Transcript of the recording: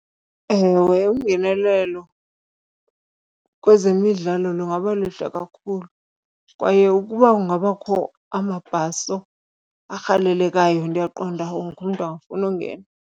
Ewe, ungenelelo kwezemidlalo lungaba lihle kakhulu kwaye ukuba kungabakho amabhaso arhalelekayo ndiyaqonda wonke umntu angafuna ungena.